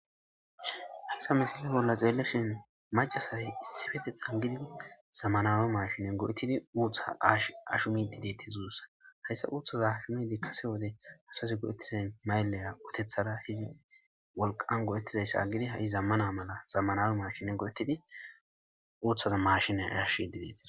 hayssa misili bolla xeelleshin macasay issifete xangididi zammanawe mashinen go7ettidi uuththa s ashumididetti zuussa hayssa uuththaza ashumidi kase wode asasi go7ettizan mayllera uotethada hizidi wolqan goo7ettizayssa agidi ha7i zammana mala zammanawe mashine go7etidi uuthaza mashine yashi dideti